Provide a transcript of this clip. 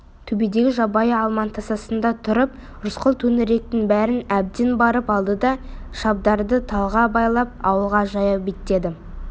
төбедегі жабайы алманың тасасында тұрып рысқұл төңіректің бәрін әбден барлап алды да шабдарды талға байлап ауылға жаяу беттеді